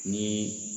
Ni